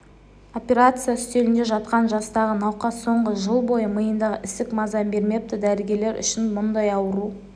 операция үстелінде жатқан жастағы науқас соңғы жыл бойы миындағы ісік маза бермепті дәрігерлер үшін мұндай ауру